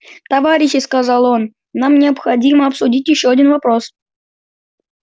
товарищи сказал он нам необходимо обсудить ещё один вопрос